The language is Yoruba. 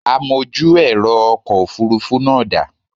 Amojú ẹ̀rọ ọkọ̀ Òfurufú náà da?